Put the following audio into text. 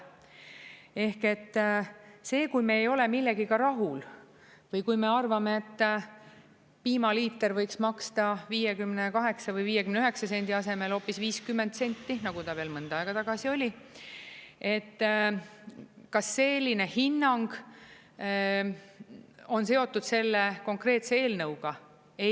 Ehk et see, kui me ei ole millegagi rahul või kui me arvame, et piimaliiter võiks maksta 58 või 59 sendi asemel hoopis 50 senti, nagu ta veel mõnda aega tagasi oli, et kas selline hinnang on seotud selle konkreetse eelnõuga?